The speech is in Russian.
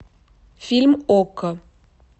фильм окко